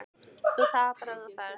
Að þú tapar ef þú ferð.